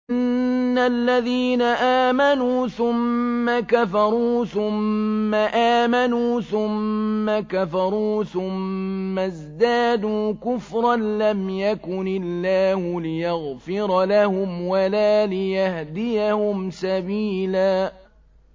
إِنَّ الَّذِينَ آمَنُوا ثُمَّ كَفَرُوا ثُمَّ آمَنُوا ثُمَّ كَفَرُوا ثُمَّ ازْدَادُوا كُفْرًا لَّمْ يَكُنِ اللَّهُ لِيَغْفِرَ لَهُمْ وَلَا لِيَهْدِيَهُمْ سَبِيلًا